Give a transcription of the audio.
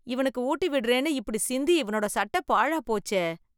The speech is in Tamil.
இவனுக்கு ஊட்டி விடறேன்னு, இப்டி சிந்தி, இவனோட சட்டை பாழாய் போச்சே